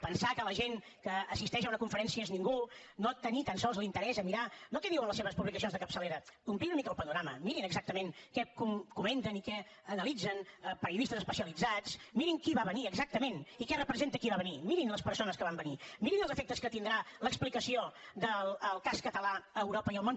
pensar que la gent que assisteix a una conferència és ningú no tenir tan sols l’interès a mirar no què diuen les seves publicacions de capçalera ampliïn una mica el panorama mirin exactament què comenten i què analitzen periodistes especialitzats mirin qui va venir exactament i què representa qui va venir mirin les persones que van venir mirin els efectes que tindrà l’explicació del cas català a europa i al món